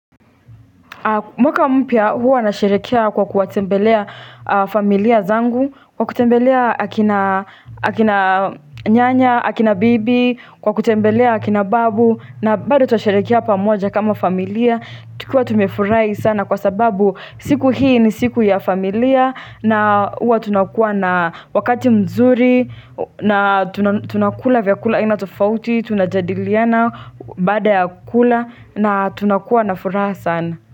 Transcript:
Mwaka mpya huwa nasherehekea kwa kuwatembelea familia zangu, kwa kutembelea akina akina nyanya, akina bibi, kwa kutembelea akina babu, na bado tutaasherehekea pamoja kama familia, tukiwaa tumefurahi sana kwa sababu siku hii ni siku ya familia, na huwa tunakua na wakati mzuri, na tuna tunakula vyakula aina tofauti, tunajadiliana baada ya kula, na tunakua na furaha sana.